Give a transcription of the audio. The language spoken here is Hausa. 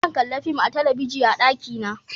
Zan kalla fim a talabijin a daki na